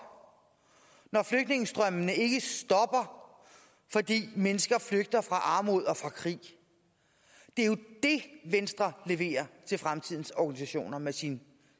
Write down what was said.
når flygtningestrømmene ikke stopper fordi mennesker flygter fra armod og fra krig det er jo det venstre leverer til fremtidens organisationer med sin